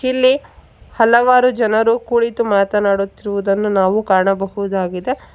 ಇಲ್ಲಿ ಹಲವಾರು ಜನರು ಕುಳಿತು ಮಾತನಾಡುತ್ತಿರುವುದನ್ನು ನಾವು ಕಾಣಬಹುದಾಗಿದೆ.